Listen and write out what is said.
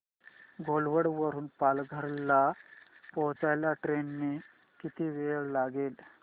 घोलवड वरून पालघर ला पोहचायला ट्रेन ने किती वेळ लागेल